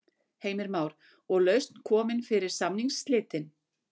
Heimir Már: Og lausn komin fyrir samningsslitin?